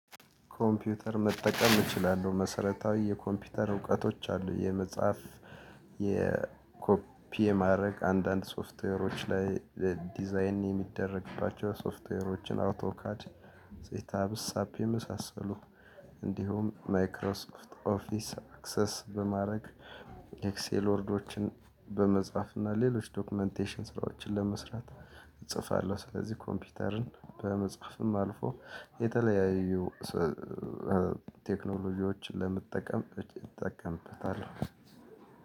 ኮምፒውተር መጠቀም እችላለሁ መሰረታዊ የኮምፒውተር እውቀቶች አሉኝ። የመጽሐፍ የኮፒ የማድረግ አንዳንድ ሶፍትዌሮች ላይ ዲዛይን የሚደረግባቸው ሶፍትዌሮችን አውቶካድ ጼታ ብሳፕ የመሳሰሉ። እንዲሁም ማይክሮሶፍት ኦፊስ አክሰስ በማድረግ ኤክሴል ወርዶችን በመጽሐፍ እና ሌሎች ዶክመንቴሽን ስራዎችን ለመስራት። እጽፋለሁ ስለዚህ ኮምፒውተርን በመጽሐፍም አልፎ የተለያዩ ቴክኖሎጂዎችን ለመጠቀም እጠቀምበታለሁ።